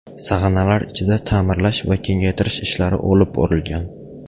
Sag‘analar ichida ta’mirlash va kengaytirish ishlari olib borilgan.